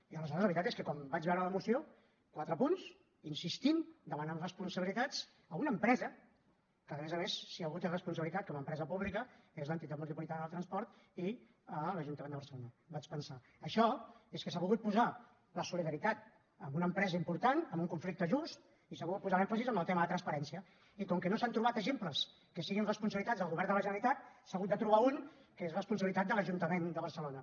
i aleshores la veritat és que quan vaig veure la moció quatre punts insistint demanant responsabilitats a una empresa que a més a més si algú té responsabilitat com a empresa pública és l’entitat metropolitana del transport i l’ajuntament de barcelona vaig pensar això és que s’ha volgut posar la solidaritat amb una empresa important amb un conflicte just i s’ha volgut posar l’èmfasi amb el tema de transparència i com que no s’han trobat exemples que siguin responsabilitats del govern de la generalitat s’ha hagut de trobar un que és responsabilitat de l’ajuntament de barcelona